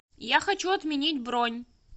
я хочу отменить бронь